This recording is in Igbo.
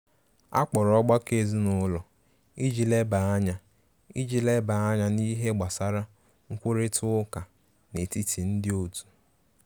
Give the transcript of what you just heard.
Akpọrọ ọgbakọ ezinụlọ iji leba anya iji leba anya n'ihe gbasara nkwurita uká n'etiti ndi otu.